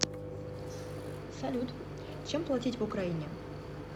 салют чем платить в украине